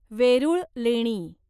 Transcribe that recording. वेरुळ लेणी